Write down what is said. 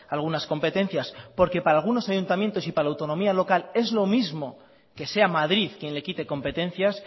algunas competencias porque para algunos ayuntamientos y para la autonomía local es lo mismo que sea madrid quien le quite competencias